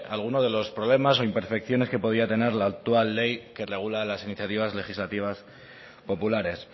alguno de los problemas o imperfecciones que podía tener la actual ley que regula las iniciativas legislativas populares